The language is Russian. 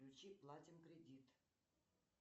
включи платим кредит